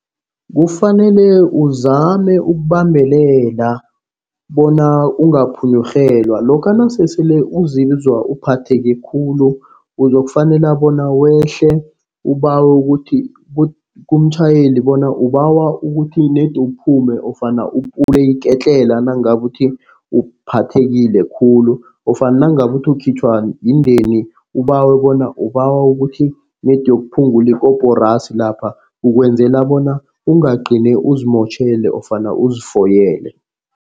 Kufanele uzame ukubambelela bona ungaphunyurhelwa. Lokha nasesele uzizwa uphatheke khulu uzokufanele bona wehle. Ubawe ukuthi kumtjhayeli bona ubawa ukuthi ned kuphume ofana upule iketlela nangabe uthi uphathekile khulu. Ofana nangabe uthi ukhitjhwa yindeni ubawe bona ubawa ukuthi nedi uyokuphungula ikorasi lapha. Ukwenzela bona ungagcini uzimotjhele ofana uzifoyele.